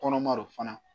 Kɔnɔma do fana